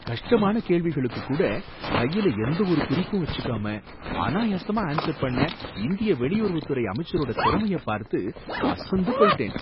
கஷ்டமான கேள்விகளுக்கு கூட கையில எந்த ஒரு குறிப்பும் வச்சுக்காம அனாயாசமா ஆன்சர் பண்ண இந்திய வெளியுறவுத்துறை அமைச்சரோட திறமைய பார்த்து அசந்து போயிட்டேன்.